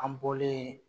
An bɔlen